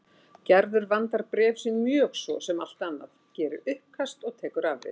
Gerður vandar bréf sín mjög svo sem allt annað, gerir uppkast og tekur afrit.